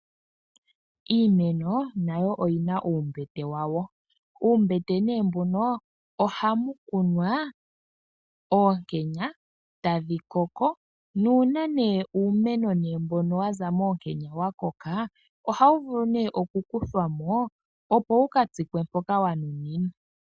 Iimeno nayo oyi na uumbete wawo. Uumbete mbuno ohamu kunwa oonkenya, tadhi koko. Nuuna uumeno mbono wa za moonkenya wa koka, ohawu vulu okukuthwa mo, opo wu ka tsikwe mpoka wa nuninwa.